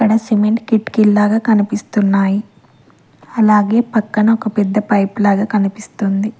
ఈడ సిమెంట్ కిటికీల్లాగా కనిపిస్తున్నాయ్ అలాగే పక్కన ఒక పెద్ద పైప్ లాగా కనిపిస్తుంది.